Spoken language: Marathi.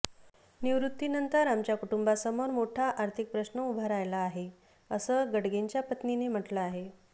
निवृत्तीनंतर आमच्या कुटुंबासमोर मोठा आर्थिक प्रश्न उभा राहीला आहे असं गडगेंच्या पत्नीने म्हटलं आहे